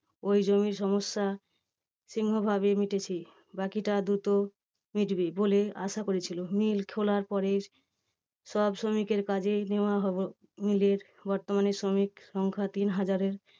ওই জমি সমস্যা সিংহভাগই মিটেছে বাকিটা দ্রুত মিটবে বলে আসা করেছিল। mill খোলার পরে সব শ্রমিকের কাজে নেওয়া হবে। mill এর বর্তমানে শ্রমিক সংখ্যা তিনহাজারের